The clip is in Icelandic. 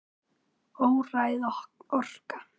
Óræð orka.